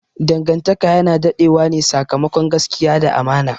Dangantaka yana dade wane sakamakon gaskiya da amana.